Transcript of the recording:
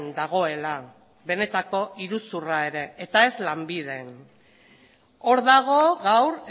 dagoela benetako iruzurra ere eta ez lanbiden hor dago gaur